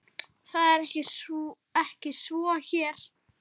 Það er ekki svo hér.